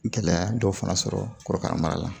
Gɛlɛya dɔw fana sɔrɔ korokara mara la